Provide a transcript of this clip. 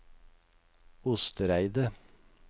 Ostereidet